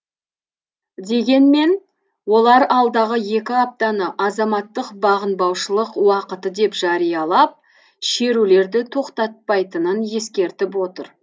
дегенмен олар алдағы екі аптаны азаматтық бағынбаушылық уақыты деп жариялап шерулерді тоқтатпайтынын ескертіп отыр